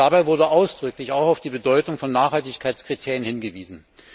Dabei wurde ausdrücklich auch auf die Bedeutung von Nachhaltigkeitskriterien hingewiesen.